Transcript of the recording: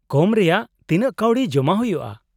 -ᱠᱚᱢ ᱨᱮᱱᱟᱜ ᱛᱤᱱᱟᱹᱜ ᱠᱟᱣᱰᱤ ᱡᱚᱢᱟ ᱦᱩᱭᱩᱜᱼᱟ ?